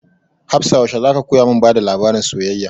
Hafsah yaushe za ka koya mun bada labarin soyayya?